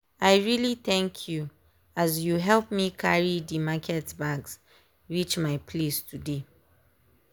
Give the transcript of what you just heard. i really thank you as you help me carry dey market bags reach my place today.